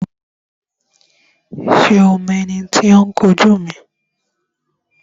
Ṣé o mọ ẹni tí ó ń kun jú mi?